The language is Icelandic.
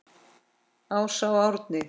Ása og Árni.